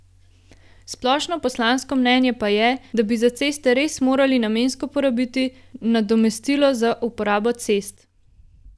Splošno poslansko mnenje pa je, da bi za ceste res morali namensko porabiti nadomestilo za uporabo cest.